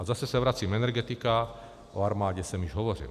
A zase se vracím - energetika, o armádě jsem již hovořil.